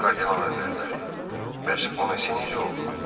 Kardinal Həzrətləri, bəs Bona Se necə oldu?